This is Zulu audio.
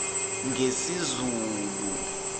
ngesizulu